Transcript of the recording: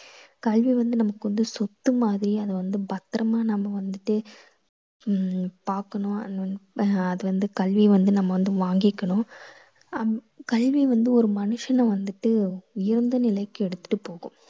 கல்வி வந்து நமக்கு வந்து சொத்து மாதிரி அதை வந்து பத்திரமா நம்ம வந்துட்டு உம் பாக்கணும் அது வந்து ஆஹ் அது வந்து கல்வி வந்து நம்ம வந்து வாங்கிக்கணும். ஹம் கல்வி வந்து ஒரு மனுஷனை வந்துட்டு உயர்ந்த நிலைக்கு எடுத்துட்டு போகும்.